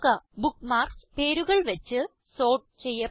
bookmarks പേരുകൾ വച്ച് sort ചെയ്യപ്പെട്ടു